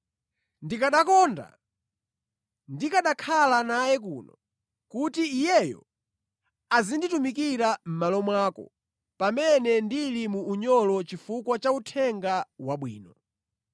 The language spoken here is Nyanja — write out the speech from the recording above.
Ndikanakonda ndikanakhala naye kuno kuti iyeyo azinditumikira mʼmalo mwako pamene ndili mu unyolo chifukwa cha Uthenga Wabwino.